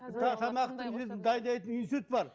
тамақтың несін дайындайтын институт бар